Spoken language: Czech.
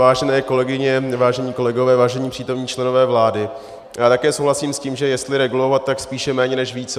Vážené kolegyně, vážení kolegové, vážení přítomní členové vlády, já také souhlasím s tím, že jestli regulovat, tak spíše méně než více.